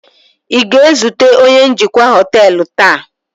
ị ga-ezute onye njikwa họtelu taa?